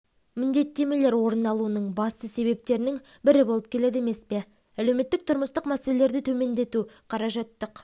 міндеттемелер орын алуының басты себептерінің бірі болып келеді емес пе әлеуметтік-тұрмыстық мәселелерді төмендету қаражаттық